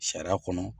Sariya kɔnɔ